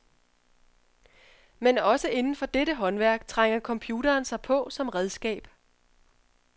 Men også inden for dette håndværk trænger computeren sig på som redskab.